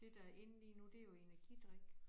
Det der in lige nu det jo energidrik